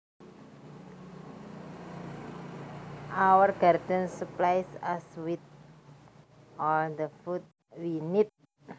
Our garden supplies us with all the food we need